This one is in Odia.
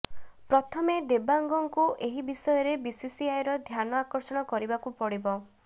ପ୍ରଥମେ ଦେବାଙ୍ଗଙ୍କୁ ଏହି ବିଷୟରେ ବିସିସିଆଇର ଧ୍ୟାନ ଆକର୍ଷଣ କରିବାକୁ ପଡ଼ିବ